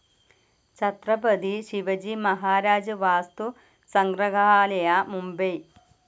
Chhatrapati Shivaji Maharaj Vastu Sangrahalaya, Mumbai